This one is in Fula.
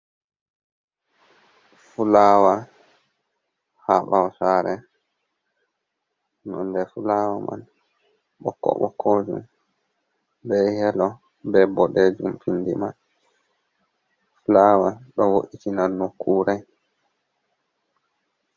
Fulawa haa ɓawo sare nonde fulawa man ɓokko-ɓokkojum, be yelo, be boɗejum findi may. Fulawa ɗo wo'itina nokkure.